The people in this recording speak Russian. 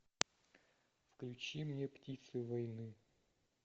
включи мне птицы войны